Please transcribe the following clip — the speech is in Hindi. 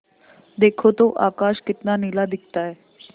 देखो तो आकाश कितना नीला दिखता है